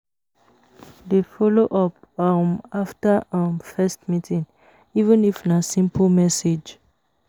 Dey follow up um after um first meeting, even if na simple message